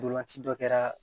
Ntolan ci dɔ kɛra